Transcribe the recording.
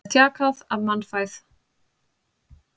Það er þjakað af mannfæð.